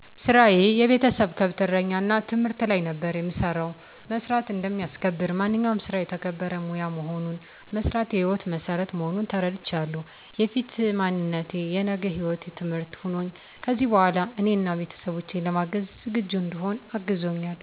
ስራየ የቤተሰብ ከብት እረኛ እና ትምህርት ላይ ነበር የምሰራው። መስራት እንደሚያስከብር፣ ማንኛውም ስራ የተከበረ ሙያ መሆኑን፣ መስራት የሕይወት መሠረት መሆኑን ተረድቻለሁ። የፊት ማንነቴ የነገ ህይወቴ ትምህርት ሆኖኝ ከዚሕ በኋላ እኔን አና ቤተሠቦቼን ለማገዝ ዝግጁ እንድሆን አግዞኛል።